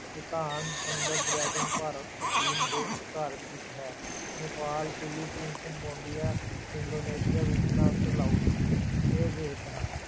ਭੂਟਾਨ, ਸੁੰਦਰ ਡਰੈਗਨ ਭਾਰਤ ਚੀਨ ਦੇ ਵਿਚਕਾਰ ਸਥਿਤ ਹੈੈ, Nepal Philippine, Cambodia, Indonesia, Vietnam ਤੇ ਲਾਓਸ ਇਹ ਦੇਸ ਹਨ।